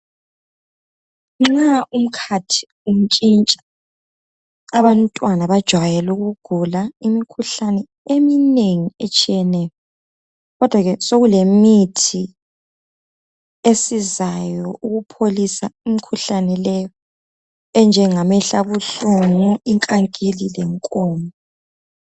Nxa umkhathi untshintsha abantwana bajayele ukugula imikhuhlane eminengi etshiyeneyo kodwa ke sokulemithi esizayo ukupholisa imikhuhlane leyo enjengamehlo abuhlungu, inkankili lenkomo.